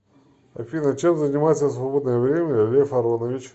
афина чем занимается в свободное время лев аронович